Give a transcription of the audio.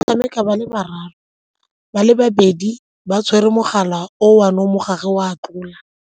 Tshameka ba le bararo, ba le babedi ba tshwere mogala o one mo gare o a tlola.